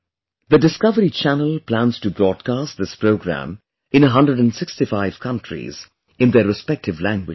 The Discovery Channel plans to broadcast this programme in 165 countries in their respective languages